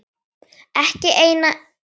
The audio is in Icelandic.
Ekki einn einasta dag.